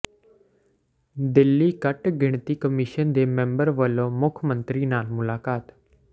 ਦਿੱਲੀ ਘੱਟ ਗਿਣਤੀ ਕਮਿਸ਼ਨ ਦੇ ਮੈਂਬਰ ਵੱਲੋਂ ਮੁੱਖ ਮੰਤਰੀ ਨਾਲ ਮੁਲਾਕਾਤ